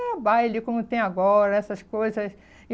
baile, como tem agora, essas coisas.